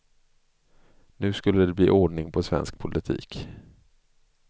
Nu skulle det bli ordning på svensk politik.